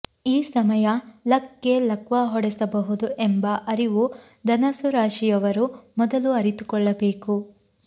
ಈ ಸಮಯ ಲಕ್ಗೆ ಲಕ್ವಾ ಹೊಡೆಸಬಹುದು ಎಂಬ ಅರಿವು ಧನಸ್ಸು ರಾಶಿಯವರು ಮೊದಲು ಅರಿತುಕೊಳ್ಳಬೇಕು